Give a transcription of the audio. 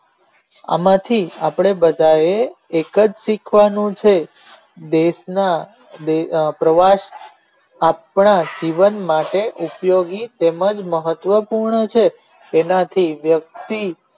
આનાથી આપણે બધા એ એક જ શીખવાનું છે દેશ ના પ્રવાસ આપણા જીવન માટે ઉપયોગી તેમજ મહત્વ પુનઁ છે તેનાતી વ્યક્તિ